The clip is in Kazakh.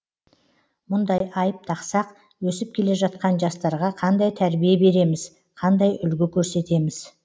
мұндай айып тақсақ өсіп келе жатқан жастарға қандай тәрбие береміз қандай үлгі көрсетеміз